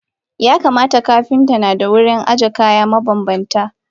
Yakamata Kapinta nada wurin aje kaya mabanbanta.